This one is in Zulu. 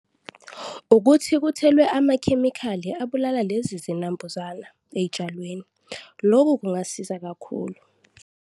Ukuthi kuthelwe amakhemikhali abulala lezi zinambuzana ey'tshalweni, loku kungasiza kakhulu.